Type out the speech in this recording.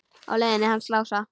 Á leiðinu hans Lása?